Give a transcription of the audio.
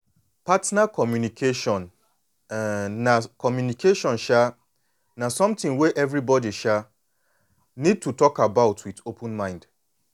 partner communication um na communication um na something wey everybody um need to dey talk about with open mind